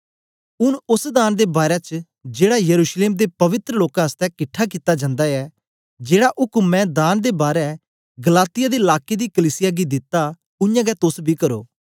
ऊँन ओस दान दे बारै च जेड़ा यरूशलेम दे पवित्र लोकें आसतै किट्ठा कित्ता जंदा ऐ जेड़ा उक्म मैं दान दे बारै गलातिया दे लाके दी कलीसिया गी दित्ता उयांगै तोस बी करो